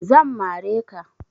Zan mare ka